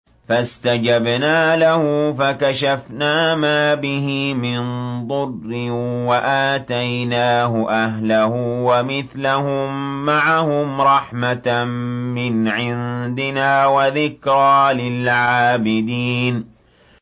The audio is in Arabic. فَاسْتَجَبْنَا لَهُ فَكَشَفْنَا مَا بِهِ مِن ضُرٍّ ۖ وَآتَيْنَاهُ أَهْلَهُ وَمِثْلَهُم مَّعَهُمْ رَحْمَةً مِّنْ عِندِنَا وَذِكْرَىٰ لِلْعَابِدِينَ